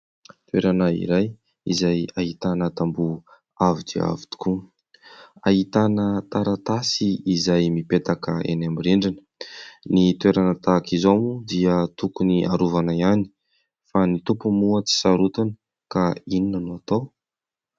Toerana iray izay ahitana tamboho avo dia avo tokoa. Ahitana taratasy izay mipetaka eny amin'ny rindrina. Ny toerana tahaka izao moa dia tokony harovana ihany fa ny tompony moa tsy sarotiny ka inona no atao ?